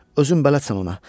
Özüm də bələdçən ona.